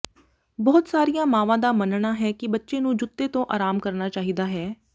ਬਹੁਤ ਸਾਰੀਆਂ ਮਾਵਾਂ ਦਾ ਮੰਨਣਾ ਹੈ ਕਿ ਬੱਚੇ ਨੂੰ ਜੁੱਤੇ ਤੋਂ ਆਰਾਮ ਕਰਨਾ ਚਾਹੀਦਾ ਹੈ